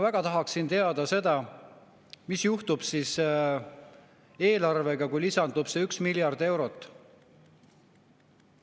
Ma tahaksin väga teada, mis juhtub eelarvega siis, kui lisandub see üks miljard eurot.